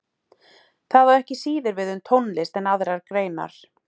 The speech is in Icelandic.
Það á ekki síður við um tónlist en aðrar greinar.